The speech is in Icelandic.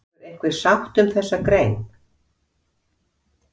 Verður einhver sátt um þessa grein?